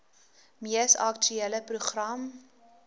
mees aktuele program